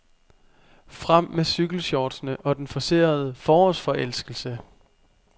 Frem med cykelshortsene og den forcerede forårsforelskelse.